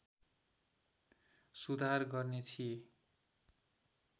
सुधार गर्ने थिए